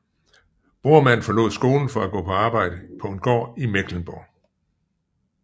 Bormann forlod skolen for at arbejde på en gård i Mecklenburg